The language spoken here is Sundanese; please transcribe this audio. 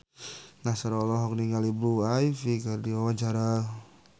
Nassar olohok ningali Blue Ivy keur diwawancara